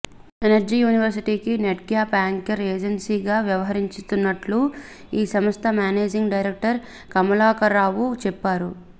energy యూనివర్శిటీకి NEDCAP anchor ఏజెన్సీగా వ్యవహరిస్తున్నట్టు ఆ సంస్థ మేనేజింగ్ డైరెక్టర్ కమలాకరరావు చెప్పారు